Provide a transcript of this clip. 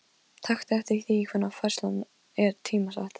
Taktu eftir því hvenær færslan er tímasett.